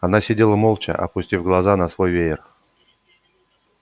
она сидела молча опустив глаза на свой веер